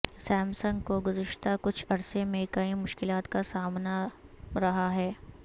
سام سنگ کو گذشتہ کچھ عرصے میں کئی مشکلات کا سامنا رہا ہے